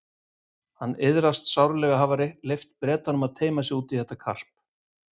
Hann iðraðist sárlega að hafa leyft Bretanum að teyma sig út í þetta karp.